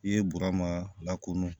I ye burama lakɔnɔ